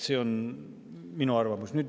See on minu arvamus.